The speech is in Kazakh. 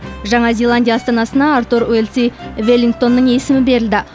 жаңа зеландия астанасына артур уэлси веллингтонның есімі берілді